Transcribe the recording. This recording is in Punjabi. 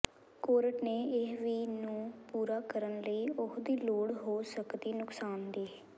ਕੋਰਟ ਨੇ ਇਹ ਵੀ ਨੂੰ ਪੂਰਾ ਕਰਨ ਲਈ ਉਹ ਦੀ ਲੋੜ ਹੋ ਸਕਦੀ ਨੁਕਸਾਨ ਦੀ